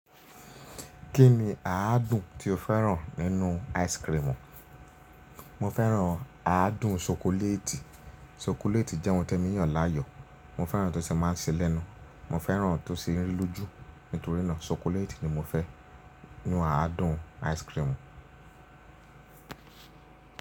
Kí ni àádùn tí o fẹ́ràn nínú ice cream? Mo fẹ́ràn àádùn ṣokoléètì. Ṣokoléètì jẹ́ ohun témi yàn láàyò. Mo fẹ́ràn to ṣe má ń ṣe lẹ́nu, mo fẹ́ràn tó ṣe ń rí lójú. Nítorí náà, ṣokoléètì ni mo fẹ́ nínú àádùn ice cream.